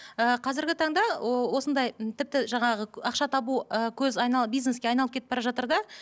ііі қазіргі таңда осындай м тіпті жаңағы ақша табу ы көз бизнеске айналып кетіп бара жатыр да